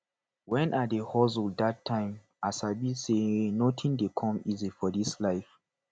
when i dey hustle dat time i sabi say nothing dey come easy for this life